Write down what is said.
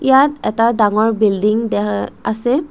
ইয়াত এটা ডাঙৰ বিল্ডিং দেখ আছে।